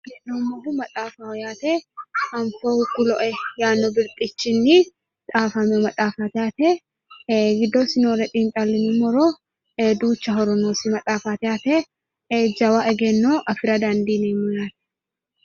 Kuni maxaafaho yaate. Anfohu kuloe yaanno birxichinni xaafamino maxaafaati yaate ee giddosi noore xiixxallinummoro duucha horo noosi maxaafaati yaate ee jawa egenno afira dandiineemmo yaate.